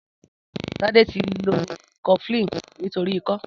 Tade ti ló kọflin nitóri ikọ